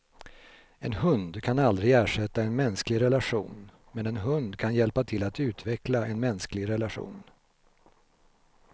En hund kan aldrig ersätta en mänsklig relation, men en hund kan hjälpa till att utveckla en mänsklig relation.